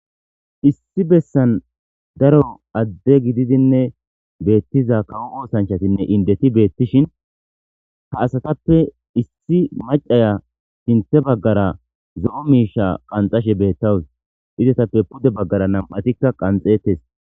Issi bessan daro adde gididinne beettiza kawo oosanchatinne indeti beettishin ha asatappe issi macaya sinthe baggara zo'o miisha qanxashe beettawus izetappe pude baggara nam'atikka qanxeettes.